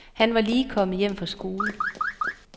Han var lige kommet hjem fra skole.